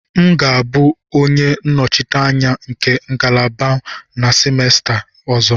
M ga-abụ onye nnọchiteanya nke ngalaba m na semester ọzọ.